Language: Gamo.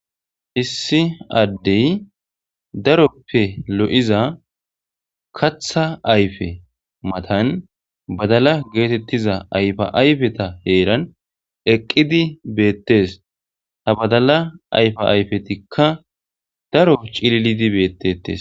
Issi addey daroppe lo'iza katha ayfe matan badala geetettiza ayfa ayfeta heeran eqqidi beettes ha badala ayfa ayfetikka daro cillidi beettetes